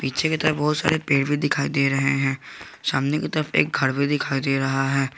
पीछे की तरफ बहोत सारे पेड़ दिखाई दे रहे है सामने की तरफ एक घर भी दिखाई दे रहा है।